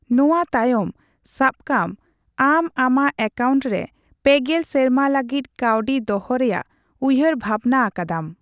ᱱᱚᱣᱟ ᱛᱟᱭᱚᱢ, ᱥᱟᱵᱠᱟᱢ ᱟᱢ ᱟᱢᱟᱜ ᱮᱠᱟᱣᱱᱴ ᱨᱮ ᱓᱐ ᱥᱮᱨᱢᱟ ᱞᱟᱹᱜᱤᱫ ᱠᱟᱣᱰᱤ ᱫᱚᱦᱚ ᱨᱮᱭᱟᱜ ᱩᱭᱦᱟᱹᱨ ᱵᱷᱟᱵᱱᱟ ᱟᱠᱟᱫᱟᱢ ᱾